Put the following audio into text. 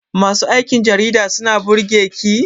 Masu aikin jarida suna burge ki?